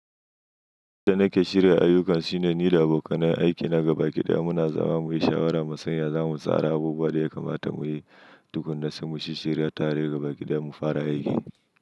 Yanda da nake shirya ayyukan shine ni da abokanan aiki na gabaki ɗaya muna zama muyi shawara mu sanya zamu tsara abubuwa da ya kamata muyi tukun na sai mu shirya tare gabaki ɗaya mu fara aiki.